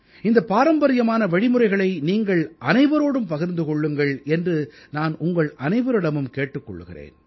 இந்தப் பாரம்பரியமான வழிமுறைகளை நீங்கள் அனைவரோடும் பகிர்ந்து கொள்ளுங்கள் என்று நான் உங்கள் அனைவரிடமும் கேட்டுக் கொள்கிறேன்